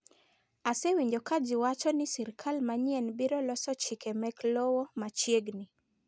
Asewinjo ka ji wacho ni sirkal manyien biro loso chike mek lowo machiegni.